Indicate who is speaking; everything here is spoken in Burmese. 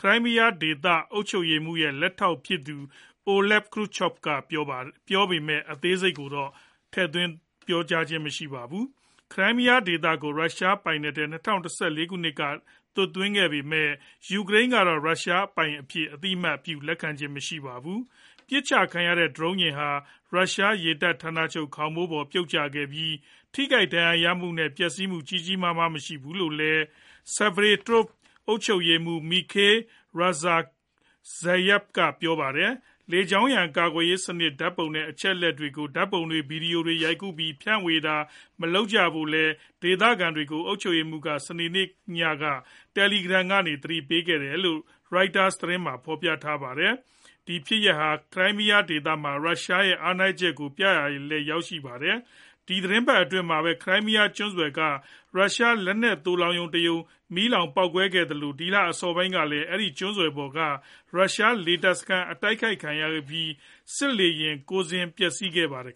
Speaker 1: ခရိုင်းမီးယားဒေသ အုပ်ချုပ်ရေးမှူးရဲ့ လက်ထောက်ဖြစ်သူ Oleg Kryuchkov ကပြောပေမဲ့ အသေးစိတ်တော့ မပြောပါဘူး။ ခရိုင်းမီးယားဒေသကို ရုရှားပိုင်နက်ထဲ ၂၀၁၄ ခုနှစ်မှာ သွတ်သွင်းခဲ့ပေမဲ့ ယူကရိန်းကတော့ ရုရှားပိုင်အဖြစ် အသိအမှတ် လက်မခံပါဘူး။ ပစ်ချခံရတဲ့ ဒရုန်းယာဉ်ဟာ ရုရှားရေတပ်ဌာနချုပ် ခေါင်မိုးပေါ် ပြုတ်ကျခဲ့ပြီး၊ ထိခိုက်ဒဏ်ရာရသူနဲ့ ပျက်စီးမှု ကြီးကြီးမားမား မရှိခဲ့ဘူးလို့လည်း Sevastopol အုပ်ချုပ်ရေးမှူး Mikhail Razvozhaev ကပြောပါတယ်။ လေကြောင်းရန် ကာကွယ်ရေးစနစ် ဓာတ်ပုံတွေနဲ့ အချက်အလက်တွေကို ဓာတ်ပုံတွေ၊ ဗွီဒီယိုတွေရိုက်ကူးပြီး ဖြန့်ဝေတာတွေ မလုပ်ကြဖို့လည်း ဒေသခံတွေကို အုပ်ချုပ်ရေးမှူးက စနေနေ့ညမှာ Telegram ကနေ သတိပေးခဲ့တယ်လို့လည်း Reuters သတင်းက ဖော်ပြပါတယ်။ ဒီဖြစ်ရပ်ဟာ ခရိုင်းမီးယား ဒေသမှာ ရုရှားရဲ့ အားနည်းချက်ကို ပြသရာလည်း ရောက်ခဲ့တာပါ။ ဒီသီတင်းပတ်အတွင်းမှာပဲ Crimea ကျွန်းဆွယ်က ရုရှား လက်နက်သိုလှောင်ရုံတရုံ ပေါက်ကွဲမီးလောင်ခဲ့သလို ဒီလအစောပိုင်းကလည်း အဲဒီကျွန်းဆွယ်ပေါ်က ရုရှားလေတပ်စခန်း တိုက်ခိုက်ခံရပြီး စစ်လေယာဉ် ၉ စင်း ပျက်စီးခဲ့ပါတယ်